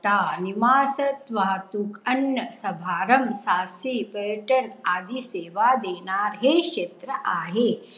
वाहतूक, अन्य समारंभ सारखी पर्यटन आदी सेवा देणारे हे क्षेत्र आहे.